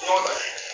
Hɔn